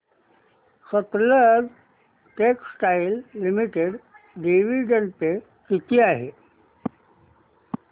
Sutlej textiles limited dividend pay किती आहे